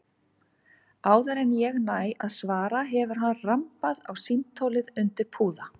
Áður en ég næ að svara hefur hann rambað á símtólið undir púða.